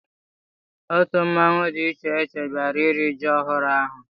Otu mmanwụ dị iche iche bịara iri ji ọhụrụ ahụ.